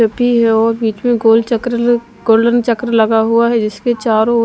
है और बीच में गोल चक्र गोल्डन चक्र लगा हुआ है जिसके चारों ओर--